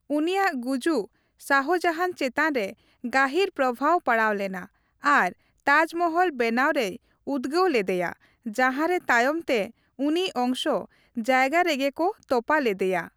ᱩᱱᱤᱭᱟᱜ ᱜᱩᱡᱩᱠ ᱥᱟᱦᱡᱟᱦᱟᱱ ᱪᱮᱛᱟᱱ ᱨᱮ ᱜᱟᱹᱦᱤᱨ ᱯᱨᱚᱣᱟᱵ ᱯᱟᱲᱟᱣᱞᱮᱱᱟ ᱟᱨ ᱛᱟᱡᱽᱢᱚᱦᱚᱞ ᱵᱮᱱᱟᱣ ᱨᱮᱭ ᱩᱫᱽᱜᱟᱹᱣ ᱞᱤᱫᱤᱭᱟ, ᱡᱟᱦᱟᱨᱮ ᱛᱟᱭᱚᱢᱛᱮ ᱩᱱᱤ ᱚᱱᱥ ᱡᱥᱭᱜᱥ ᱨᱮ ᱜᱮ ᱠᱚ ᱛᱚᱯᱟ ᱞᱤᱫᱤᱭᱟ ᱾